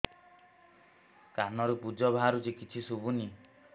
କାନରୁ ପୂଜ ବାହାରୁଛି କିଛି ଶୁଭୁନି